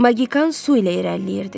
Maqikan su ilə irəliləyirdi.